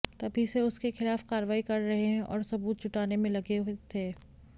तभी से उसके खिलाफ कार्रवाई कर रहे हैं और सबूत जुटाने में लगे हुए थे